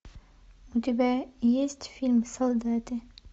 у тебя есть фильм солдаты